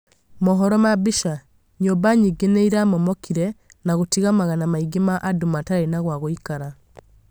mohoro ma mbica, nyũmba nyingĩ nĩiramomokire na gũtiga magana maingĩ ma andũ matarĩ na gwa gũikara